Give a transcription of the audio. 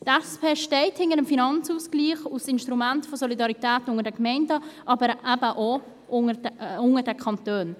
Die SP steht hinter dem Finanzausgleich als Instrument der Solidarität unter den Gemeinden, aber eben auch unter den Kantonen.